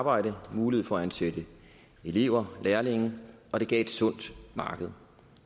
arbejde mulighed for at ansætte elever lærlinge og det gav et sundt marked